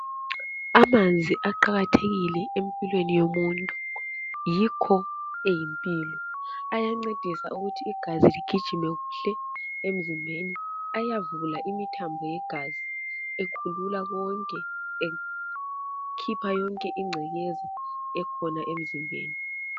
Amanzi aqakathekile empilweni yomuntu, yikho eyimpilo. Ayancedisa ukuthi igazi ligijime kuhle emzimbeni. Ayavula imithambo yegazi ekhulula konke, ekhipha yonke ingcekeza ekhona emzimbeni.